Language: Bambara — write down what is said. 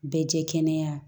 Bɛɛ jɛ kɛnɛya